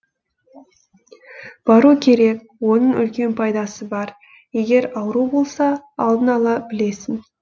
бару керек оның үлкен пайдасы бар егер ауру болса алдын ала білесің